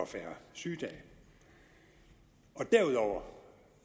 færre sygedage derudover